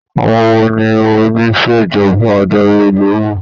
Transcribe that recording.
Àwọn wo ni onisejọba adarí olówó.